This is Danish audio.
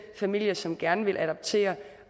familie som gerne vil adoptere